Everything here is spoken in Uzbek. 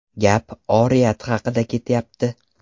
Gap oriyat haqida ketyapti.